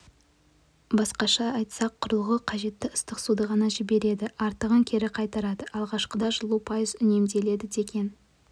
басқаша айтсақ құрылғы қажетті ыстық суды ғана жібереді артығын кері қайтарады алғашқыда жылу пайыз үнемделеді деген